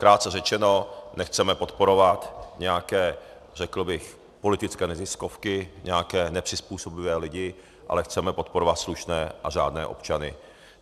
Krátce řečeno, nechceme podporovat nějaké, řekl bych, politické neziskovky, nějaké nepřizpůsobivé lidi, ale chceme podporovat slušné a řádné občany.